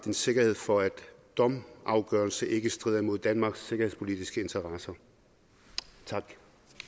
en sikkerhed for at domsafgørelser ikke strider mod danmarks sikkerhedspolitiske interesser tak